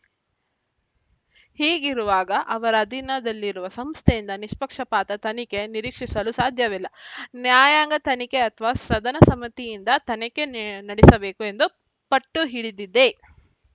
ಹೀಗಿರುವಾಗ ಅವರ ಅಧೀನದಲ್ಲಿರುವ ಸಂಸ್ಥೆಯಿಂದ ನಿಷ್ಪಕ್ಷಪಾತ ತನಿಖೆ ನಿರೀಕ್ಷಿಸಲು ಸಾಧ್ಯವಿಲ್ಲ ನ್ಯಾಯಾಂಗ ತನಿಖೆ ಅಥವಾ ಸದನ ಸಮಿತಿಯಿಂದ ತನಿಖೆ ನೆ ನಡೆಸಬೇಕು ಎಂದು ಪಟ್ಟು ಹಿಡಿದಿದೆ